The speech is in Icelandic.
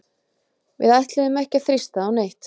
Við ætlum ekki að þrýsta á neitt.